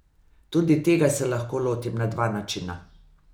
Tudi tega se lahko lotim na dva načina.